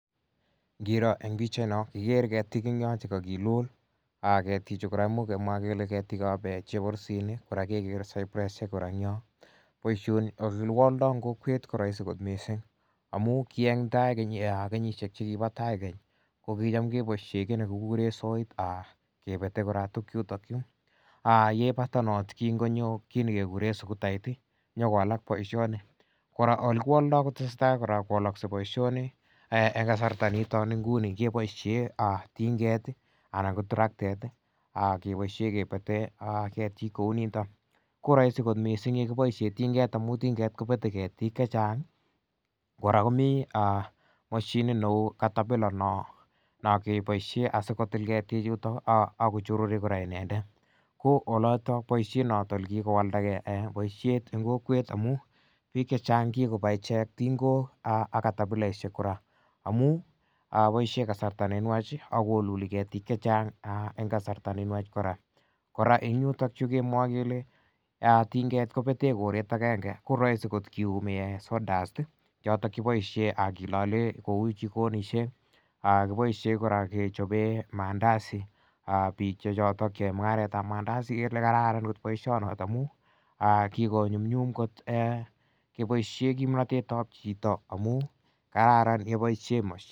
Ngiroo en pichait non ikere ketik en yon chekakilul ketik chu kora imuch kemwaa kele ketik ab cheborusinik kora kekere cypress kora en yon boisioni ak yekiwoldoo en kokwet ko roisi kot missing amun ki en tai kenyisiek chekibo tai kokicham keboisien kiy nekikuren soit kebete kora tuguk chuton chu yebata noton kin konyo kit nekuren sugutait ih nyokowalak boisioni kora elekiwoldoo kotesetai kowolokse boisioni en kasarta nekitou nguni keboisien tinget anan ko traktet keboisien kebete ketiik kouniton ko roisi kot missing yekiboisien tinget amun tinget kobete ketiik chechang kora komii mashinit neu caterpillar non kiboisien asikotil ketiik chuton ako chorori kora inendet ko oloton boisiet noton kikowaldagee boisiet en kokwet amun biik chechang kikoba ichek tingok ak catapilaisiek kora amun boisien kasarta nenwach akoluli ketiik chechang en kasarta nenwach kora en yuton chukimwoe kele tinget kobeten koret agenge koroisi kor kiyumi saw dust choton kiboisien kilole kou jikonisiek kiboisien kora kechoben mandasi biik choton cheyoe mung'aret ab mandasi en elekararan boisionoton amu kikonyumnyum kot keboisien kimnotet ab chito amun kararan keboisien mashinit